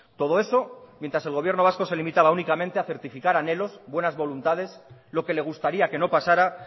todo eso mientras el gobierno vasco se limitaba únicamente a certificar anhelos buenas voluntades lo que le gustaría que no pasara